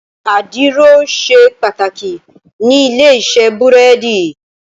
Àdìrò ṣé pàtákí ni ilé-isè búrèdí